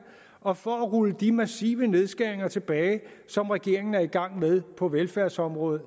og for at rulle de massive nedskæringer tilbage som regeringen er i gang med på velfærdsområdet